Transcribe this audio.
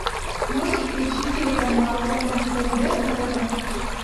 можешь включить телеканал нств на тв